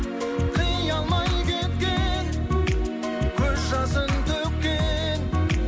қия алмай кеткен көз жасын төккен